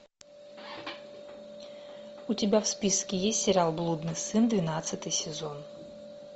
у тебя в списке есть сериал блудный сын двенадцатый сезон